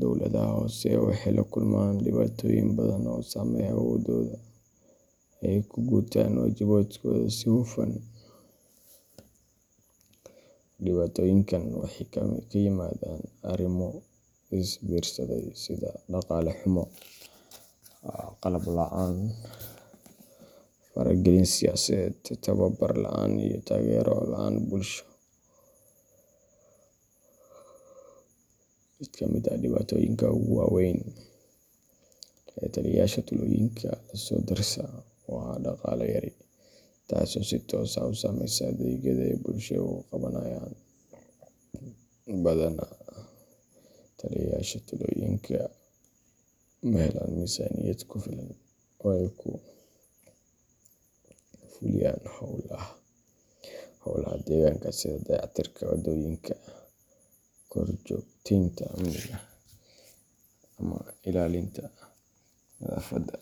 dawladaha hoose waxay la kulmaan dhibaatooyin badan oo saameeya awooddooda ay ku gutaan waajibaadkooda si hufan. Dhibaatooyinkan waxay ka yimaadaan arrimo is biirsaday sida dhaqaale xumo, qalab la’aan, faragelin siyaasadeed, tababar la’aan iyo taageero la’aan bulsho. Mid ka mid ah dhibaatooyinka ugu waa weyn ee taliyeyaasha tuuloyinka la soo dersa waa dhaqaale yari, taasoo si toos ah u saameysa adeegyada ay bulshada u qabanayaan. Badanaa, taliyeyaasha tuuloyinka ma helaan miisaaniyad ku filan oo ay ku fuliyaan howlaha deegaanka sida dayactirka waddooyinka, korjoogteynta amniga, ama ilaalinta nadaafadda.